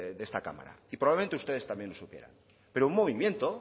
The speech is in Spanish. de esta cámara y probablemente ustedes también lo supieran pero un movimiento